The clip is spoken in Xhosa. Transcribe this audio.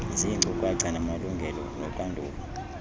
ziinkcukacha ngamalungelo noxanduva